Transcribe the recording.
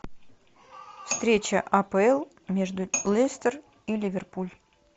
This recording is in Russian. встреча апл между лестер и ливерпуль